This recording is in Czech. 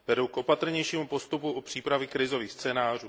Vedou k opatrnějšímu postupu u přípravy krizových scénářů.